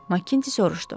Maqinti soruşdu.